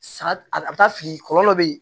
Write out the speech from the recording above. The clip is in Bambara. Sa a bɛ taa sigi kɔlɔ bɛ yen